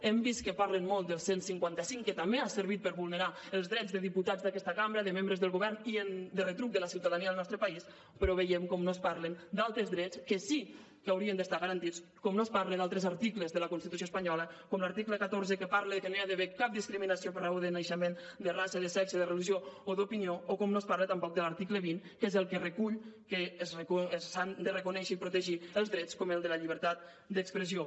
hem vist que parlen molt del cent i cinquanta cinc que també ha servit per vulnerar els drets de diputats d’aquesta cambra de membres del govern i de retruc de la ciutadania del nostre país però veiem com no es parla d’altres drets que sí que haurien d’estar garantits com no es parla d’altres articles de la constitució espanyola com l’article catorze que parla de que no hi ha d’haver cap discriminació per raó de naixement de raça de sexe de religió o d’opinió o com no es parla tampoc de l’article vint que és el que recull que s’han de reconèixer i protegir els drets com el de la llibertat d’expressió